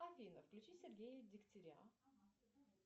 афина включи сергея дягтеря